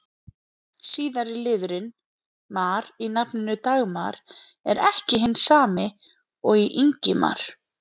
Síðari liðurinn-mar í nafninu Dagmar er ekki hinn sami og í Ingimar.